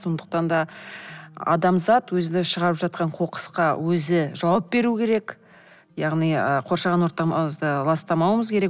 сондықтан да адамзат өзінің шығарып жатқан қоқысқа өзі жауап беру керек яғни ы қоршаған ортамызды ластамауымыз керек